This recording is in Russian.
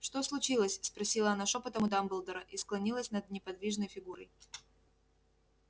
что случилось спросила она шёпотом у дамблдора и склонилась над неподвижной фигурой